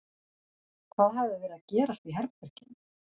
Hvað hafði verið að gerast í herberginu?